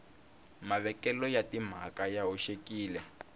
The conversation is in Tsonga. mavekelo ya timhaka ya hoxekile